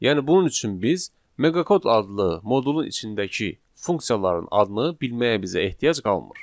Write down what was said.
Yəni bunun üçün biz meqakod adlı modulun içindəki funksiyaların adını bilməyə bizə ehtiyac qalmır.